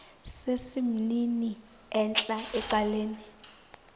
sesimnini entla ecaleni